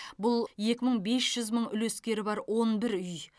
бұл екі жарым мың үлескері бар он бір үй